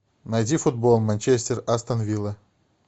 найди футбол манчестер астон вилла